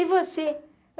E você?